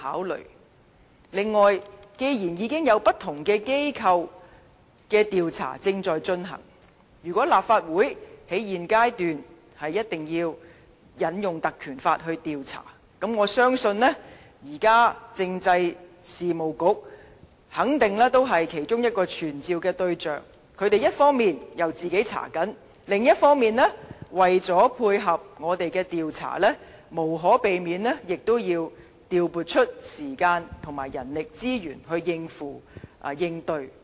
此外，既然已經有不同機構的調查正在進行，如果立法會在現階段必須引用《立法會條例》調查，我相信現時政制及內地事務局肯定是其中一個傳召的對象，一方面，他們正在調查，另一方面，為了配合我們的調查，無可避免亦要調撥時間和人力資源來應對。